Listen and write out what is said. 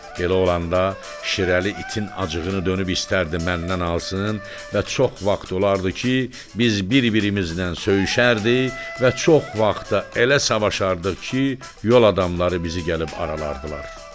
Elə olanda Şirəli itin acığını dönüb istərdi məndən alsın və çox vaxt olardı ki, biz bir-birimizlə söyüşərdi və çox vaxtı elə savaşardıq ki, yol adamları bizi gəlib aralardılar.